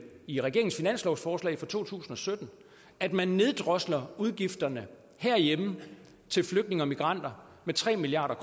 i regeringens finanslovsforslag for to tusind og sytten at man neddrosler udgifterne herhjemme til flygtninge og migranter med tre milliard